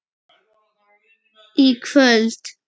í kvöld.